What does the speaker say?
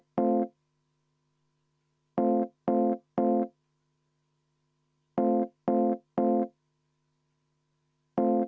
Kas Helle-Moonikal on samasugune soov?